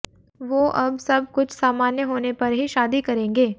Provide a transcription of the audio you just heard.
वो अब सब कुछ सामान्य होने पर ही शादी करेंगे